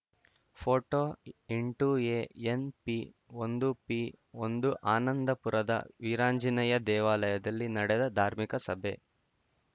photo ಎಂಟು ಎಎನ್‌ಪಿಒಂದು ಪಿಒಂದು ಆನಂದಪುರದ ವೀರಾಂಜನೇಯ ದೇವಾಲಯದಲ್ಲಿ ನಡೆದ ಧಾರ್ಮಿಕ ಸಭೆ